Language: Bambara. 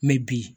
Mɛ bi